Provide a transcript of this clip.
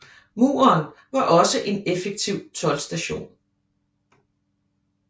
Muren var også en effektiv toldstation